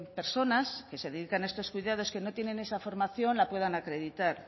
personas que se dedican a estos cuidados que no tienen esa formación la puedan acreditar